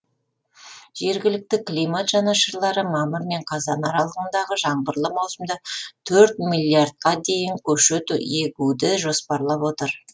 жергілікті климат жанашырлары мамыр мен қазан аралығындағы жаңбырлы маусымда төрт миллиардқа дейін көшет егуді жоспарлап отыр